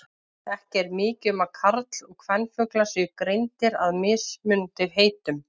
Ekki er mikið um að karl- og kvenfuglar séu greindir að með mismunandi heitum.